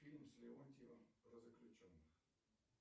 фильм с леонтьевым про заключенных